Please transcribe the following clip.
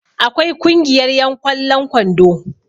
akwai Kungiyar yan ƙwallon kwando